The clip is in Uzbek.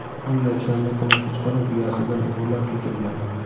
u yakshanba kuni kechqurun uyasidan o‘g‘irlab ketilgan.